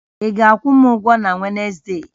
Ị ga-akwụ m ụgwọ na Wezde!